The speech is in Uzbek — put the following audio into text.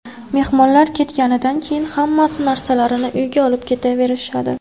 Mehmonlar ketganidan keyin hammasi narsalarini uyiga olib ketaverishadi.